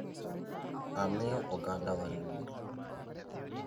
Amiyo ogandawa luor!